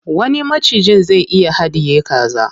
Wani macijin zai iya haɗiye kaza.